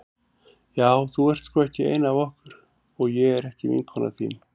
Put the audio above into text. Já þú ert sko ekki ein af okkur og ég er ekki vinkona þín.